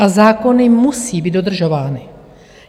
A zákony musí být dodržovány.